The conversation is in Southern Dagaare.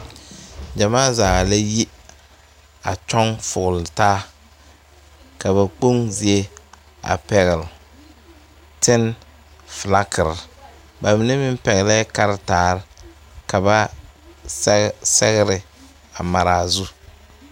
Gyamaa zaa la yi a kyɔŋ fogletaa ka ba kpoŋ zie a pɛgle tene filagiri ba mine meŋ pɛglɛɛ kartaare ka ba sɛge sɛgre a mare a zu.